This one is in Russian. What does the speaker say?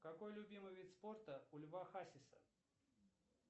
какой любимый вид спорта у льва хасиса